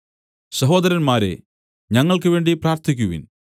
സഹോദരന്മാരേ ഞങ്ങൾക്കുവേണ്ടി പ്രാർത്ഥിക്കുവിൻ